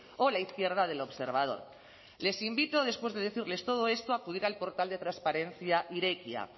o la izquierda del observador les invito después de decirles todo esto a acudir al portal de transparencia irekia